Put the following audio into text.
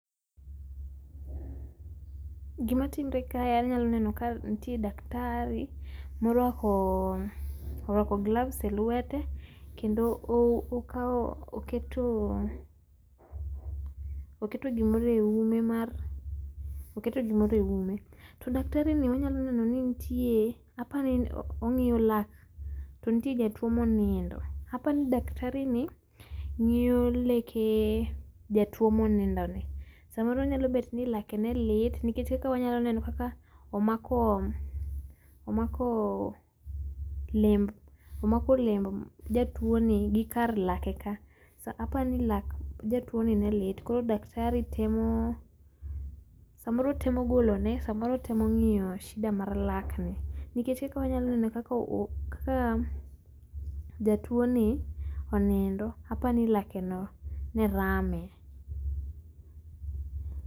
Gima timre kae anyalo neno ka nitie daktari morwako gloves e lwete kendo okao, oketo, oketo gimoro e ume mar, oketo gimoro e ume . To daktari ni unyalo neno ni nitie, apani ongiyo lak to nitie jatuo ma onindo, apani cs]daktari ni ngiyo leke jatuo ma onindo ni. Samoro nyalo bet ni lake ne lit, nikech kaka wanyalo neno kaka omako omako lemb omako lemb jatuo ni gi kar lake ka. Apani lak jatuo ni ne lit koro cs]daktari temo samoro temo golone samoro temo ngiyo shida mar lak ni, nikech eka wanyalo ngiyo eka kaka jatuo ni onindo, apani lake ni ne rame